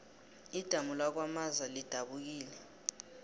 idamu lakwamaza lidabukile